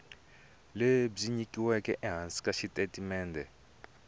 lebyi nyikiweke ehansi ka xitatimende